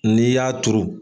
N'i y'a turu.